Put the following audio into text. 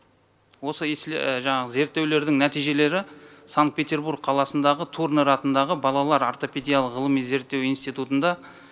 осы жаңағы зерттеулердің нәтижелері санкт петербург қаласындағы турнер атындағы балалар ортопедиялық ғылыми зерттеу институтында